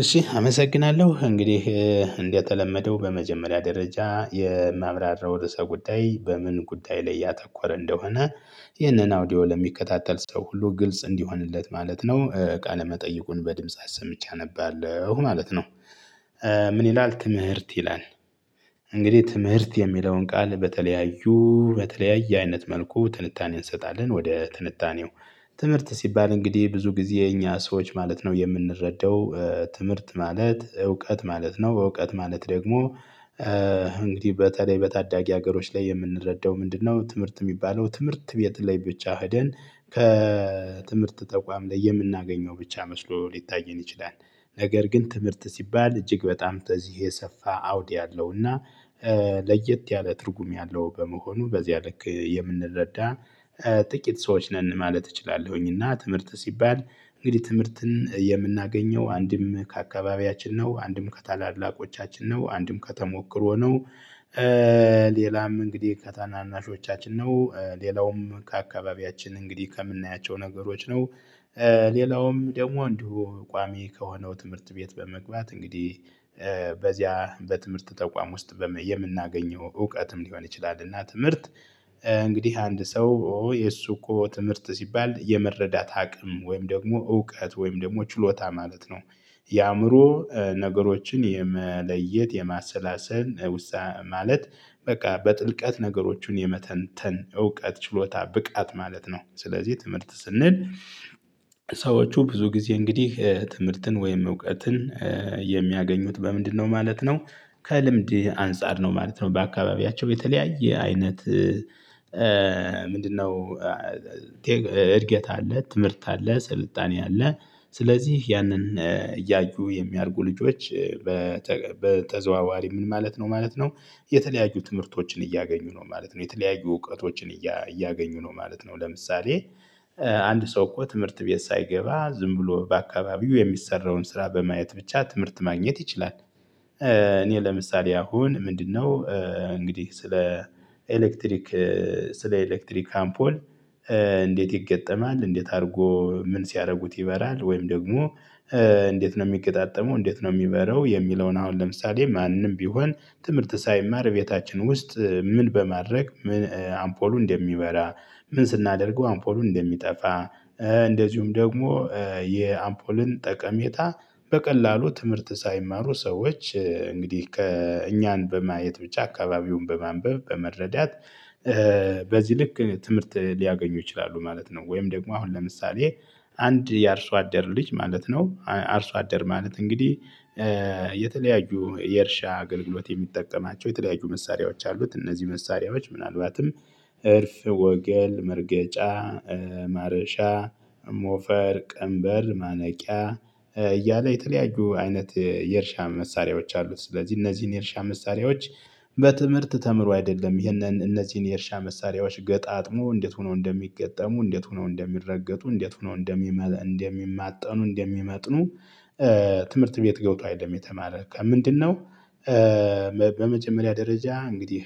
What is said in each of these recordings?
እሺ አመሰግናለሁ እንግዲህ እንደተለመደው በመጀመሪያ ደረጃ የማብራራው ርዕሰ ጉዳይ በምን ጉዳይ ላይ ያተኮረ እንደሆነ። ይህንን አውዲዮ ለሚከታተል ሰው ሁሉ ግልጽ እንዲሆንለት ማለት ነው ቃለ መጠይቁን በድምጽ አሰምቼ አነባለሁ ማለት ነው። ምን? ይላል ትምህርት ይላል። እንግዲህ ትምህርት የሚለውን ቃል በተለያዩ በተለያየ አይነት መልኩ ትንታኔን እንሰጣለን ወደ ትንታኔው። ትምህርት ሲባል እንግዲህ ብዙ ጊዜ እኛ ሰዎች ማለት ነው የምንረዳው ትምህርት ማለት እውቀት ማለት ነው። እውቀት ማለት ደግሞ እንግዲህ በተለይ በታዳጊ ሀገሮች ላይ የምንረዳው ምንድነው? ትምህርት የሚባለው ትምህርት ቤት ላይ ብቻ ሄደን ከትምህርት ተቋም ላይ የምናገኘው ብቻ መስሎ ሊታየን ይችላል። ነገር ግን ትምህርት ሲባል እጅግ በጣም ተዚህ የሰፋ አውድ ያለውና እና ለየት ያለ ትርጉም ያለው በመሆኑ በዚያ ልክ የምንረዳ ጥቂት ሰዎች ነን። ማለት እችላለሁኝና ትምህርት ሲባል እንግዲህ ትምህርትን የምናገኘው አንድም ከአካባቢያችን ነው አንድም ከታላላቆቻችን ነው አንድም ከተሞክሮ ነው። ሌላም እንግዲህ ከታናናሾቻችን ነው። ሌላውም ከአካባቢያችን እንግዲህ ከምናያቸው ነገሮች ነው። ሌላውም ደግሞ እንዲሁ ቋሚ ከሆነው ትምህርት ቤት በመግባት እንግዲህ በዚያ በትምህርት ተቋም ውስጥ የምናገኘው እውቀትም ሊሆን ይችላል። እና ትምህርት እንግዲህ አንድ ሰው የእሱ እኮ ትምህርት ሲባል የመረዳት አቅም ወይም ደግሞ እውቀት ወይም ደግሞ ችሎታ ማለት ነው። የአእምሮ ነገሮችን የመለየት የማሰላሰል ውሳኔ ማለት በቃ በጥልቀት ነገሮችን የመተንተን እውቀት ችሎታ ብቃት ማለት ነው። ስለዚህ ትምህርት ስንል ሰዎቹ ብዙ ጊዜ እንግዲህ ትምህርትን ወይም እውቀትን የሚያገኙት በምንድነው? ማለት ነው ከልምድ አንፃር ነው ማለት ነው በአካባቢያቸው የተለያየ አይነት። ምንድነው? እድገት አለ ትምህርት አለ ስልጣኔ አለ። ስለዚህ ያንን እያዩ የሚያድጉ ልጆች በተገቢ በተዘዋዋሪ ምን ማለት ነው ማለት ነው። የተለያዩ ትምህርቶችን እያገኙ ነው ማለት ነው የተለያዩ እውቀቶችን እያገኙ ነው ማለት ነው። ለምሳሌ አንድ ሰው እኮ ትምህርት ቤት ሳይገባ ዝም ብሎ በአካባቢው የሚሰራውን ስራ በማየት ብቻ ትምህርት ማግኘት ይችላል። እኔ ለምሳሌ አሁን ምንድነው? እንግዲህ ስለ ኤሌክትሪክ ስለ ኤሌክትሪክ አምፖል። እንዴት ይገጠማል እንዴት አድርጎ ምን ሲያደርጉት ይበራል? ወይም ደግሞ እንዴት ነው የሚገጣጠመው እንዴት ነው የሚበረው? የሚለውን አሁን ለምሳሌ ማንም ቢሆን ትምህርት ሳይማር ቤታችን ውስጥ ምን በማድረግ ምን አምፖሉን እንደሚበራ ምን ስናደርገው አምፖሉን እንደሚጠፋ እንደዚሁም ደግሞ የአምፖልን ጠቀሜታ በቀላሉ ትምህርት ሳይማሩ ሰዎች እንግዲህ ከእኛን በማየት ብቻ አካባቢውን በማንበብ በመረዳት በዚህ ልክ ትምህርት ሊያገኙ ይችላሉ ማለት ነው። ወይም ደግሞ አሁን ለምሳሌ አንድ የአርሶ አደር ልጅ ማለት ነው አርሶ አደር ማለት እንግዲህ የተለያዩ የእርሻ አገልግሎት የሚጠቀማቸው የተለያዩ መሳሪያዎች አሉት። እነዚህ መሳሪያዎች ምናልባትም እርፍ ወገል መርገጫ ማረሻ ሞፈር ቀንበር ማነቂያ እያለ የተለያዩ አይነት የእርሻ መሳሪያዎች አሉት ስለዚህ እነዚህን የእርሻ መሳሪያዎች በትምህርት ተምሮ አይደለም ይህንን እነዚህን የእርሻ መሳሪያዎች ገጣጥሞ እንዴት ሆኖ እንደሚገጠሙ እንዴት ሆኖ እንደሚረገጡ እንዴት ሆነው እንደሚመጥኑ እንደሚመጥኑ። ትምህርት ቤት ገውቶ አይደለም የተማረ ከምንድነው? በመጀመሪያ ደረጃ እንግዲህ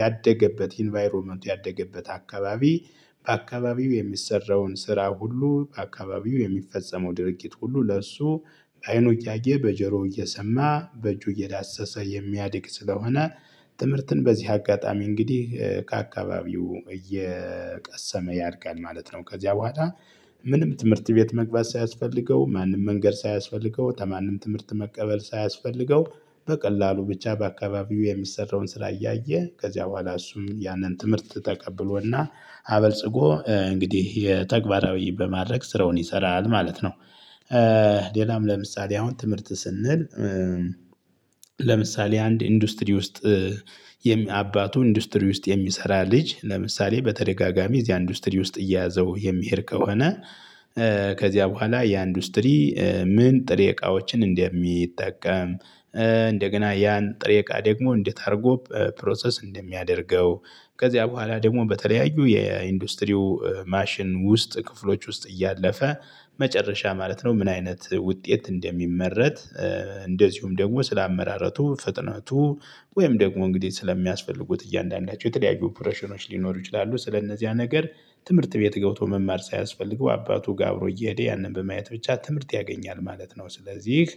ያደገበት ኢንቫይሮመንት ያደገበት አካባቢ በአካባቢው የሚሰራውን ስራ ሁሉ በአካባቢው የሚፈጸመው ድርጊት ሁሉ ለእርሱ በአይኑ እያየ በጀሮ እየሰማ በእጁ እየዳሰሰ የሚያድግ ስለሆነ ትምህርትን በዚህ አጋጣሚ እንግዲህ ከአካባቢው እየቀሰመ ያድጋል ማለት ነው። ከዚያ በኋላ ምንም ትምህርት ቤት መግባት ሳያስፈልገው ማንም መንገድ ሳያስፈልገው ከማንም ትምህርት መቀበል ሳያስፈልገው በቀላሉ ብቻ በአካባቢው የሚሰራውን ስራ እያየ ከዚያ በኋላ እሱም ያንን ትምህርት ተቀብሎና አበልጽጎ እንግዲህ የተግባራዊ በማድረግ ስራውን ይሰራል ማለት ነው። ሌላም ለምሳሌ አሁን ትምህርት ስንል። ለምሳሌ አንድ ኢንዱስትሪ ውስጥ የሚ አባቱ ኢንዱስትሪ ውስጥ የሚሰራ ልጅ ለምሳሌ በተደጋጋሚ እዚያ ኢንዱስትሪ ውስጥ እየያዘው የሚሄድ ከሆነ። ከዚያ በኋላ ያ ኢንዱስትሪ። ምን ጥሬ እቃዎችን እንደሚጠቀም። እንደገና ያን ጥሬቃ ደግሞ እንዴት አድርጎ ፕሮሰስ እንደሚያደርገው። ከዚያ በኋላ ደግሞ በተለያዩ የኢንዱስትሪው ማሽን ውስጥ ክፍሎች ውስጥ እያለፈ መጨረሻ ማለት ነው ምን አይነት ውጤት እንደሚመረት። እንደዚሁም ደግሞ ስላመራረቱ ፍጥነቱ ወይም ደግሞ እንግዲህ ስለሚያስፈልጉት እያንዳንዳቸው የተለያዩ ኦፕሬሽኖች ሊኖሩ ይችላሉ። ስለእነዚያ ነገር ትምህርት ቤት ገብቶ መማር ሳያስፈልግ በአባቱጋ አብሮ እየሄደ ያንን በማየት ብቻ ትምህርት ያገኛል ማለት ነው። ስለዚህ